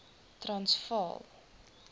transvaal